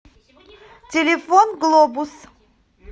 телефон глобус